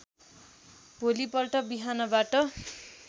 भोलि पल्ट बिहानबाट